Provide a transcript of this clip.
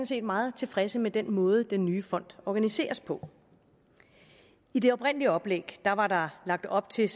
set meget tilfredse med den måde den nye fond organiseres på i det oprindelige oplæg var der lagt op til